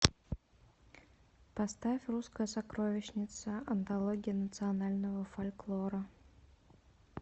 поставь русская сокровищница антология национального фольклора